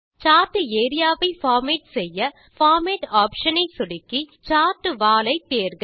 chart area ஐ format செய்ய format option ஐ சொடுக்கி சார்ட் வால் ஐ தேர்க